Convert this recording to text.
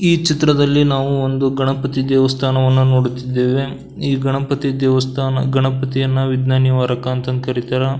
ಈ ಚಿತ್ರದಲ್ಲಿ ನಾವು ಒಂದು ಗಣಪತಿ ದೇವಸ್ಥಾನವನ್ನ ನೋಡುತ್ತಿದ್ದೇವೆ ಈ ಗಣಪತಿ ದೇವಸ್ಥಾನಗಣಪತಿಯನ್ನ ವಿಗ್ನ ನಿವಾರಕ ಅಂತಂದು ಕರೀತೇವೆ.